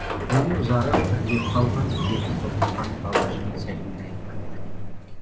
бойы ұзарып ірілеп қалған беті тотыққан бала жігіт сәлем беріп кіріп келді